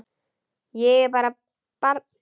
Ég er bara barn.